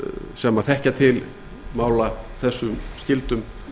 sem þekkja til mála þessum skyldum